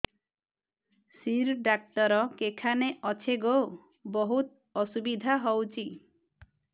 ଶିର ଡାକ୍ତର କେଖାନେ ଅଛେ ଗୋ ବହୁତ୍ ଅସୁବିଧା ହଉଚି